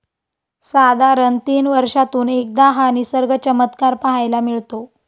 साधारण तीन वर्षातून एकदा हा निसर्ग चमत्कार पाहायला मिळतो.